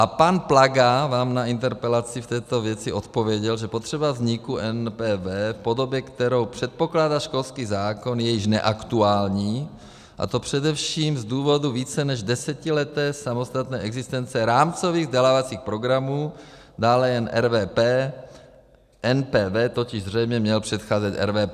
A pan Plaga vám na interpelaci v této věci odpověděl, že potřeba vzniku NPV v podobě, kterou předpokládá školský zákon, je již neaktuální, a to především z důvodu více než desetileté samostatné existence rámcových vzdělávacích programů, dále jen RVP, NPV totiž zřejmě měl předcházet RVP.